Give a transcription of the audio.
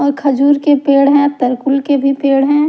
और खजूर के पेड़ हे व तरकुल के भी पेड़ हैं।